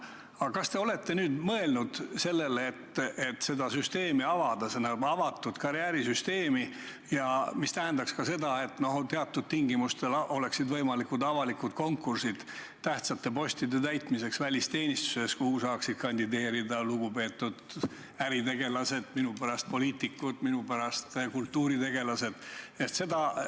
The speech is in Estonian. Aga kas te olete nüüd mõelnud sellele, et seda süsteemi avada, mis tähendaks avatud karjäärisüsteemi ja ka seda, et teatud tingimustel oleksid võimalikud avalikud konkursid tähtsate postide täitmiseks välisteenistuses, kuhu saaksid kandideerida lugupeetud äritegelased, minupärast ka poliitikud, minupärast ka kultuuritegelased?